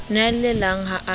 ne a llelang ha a